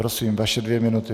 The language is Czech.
Prosím, vaše dvě minuty.